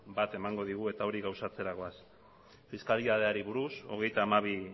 bat emango digu eta hori gauzatzera goaz fiskalitateari buruz hogeita hamabi